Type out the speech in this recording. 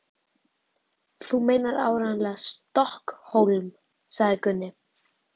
Þú meinar áreiðanlega STOKKHÓLM, sagði Gunni.